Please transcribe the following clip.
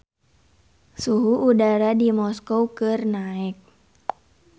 Suhu udara di Moskow keur naek